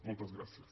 moltes gràcies